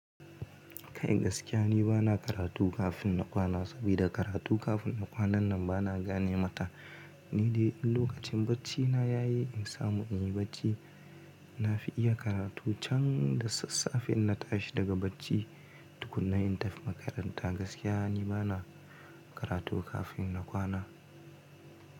Kai gaskiya ni bana karatu kafin na kwana sabida karatu kafin na kwana nan bana gane mata. Ni dai lokacin bacina ya yi in samu in yi bacci, na fi iya karatu can da sassafe in na tashi daga bacci. Tukunna in tafi makaranta gaskiya ni bana karatu kafin na kwana.